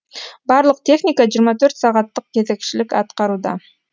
барлық техника жиырма төрт сағаттық кезекшілік атқаруда